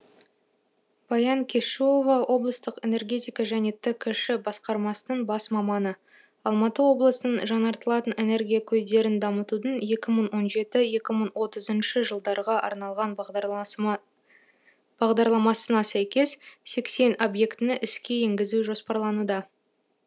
баян кешуова облыстық энергетика және ткш басқармасының бас маманы алматы облысының жаңартылатын энергия көздерін дамытудың екі мың он жеті екі мың отызыншы жылдарға арналған бағдарламасына сәйкес сексен объектіні іске енгізу жоспарлануда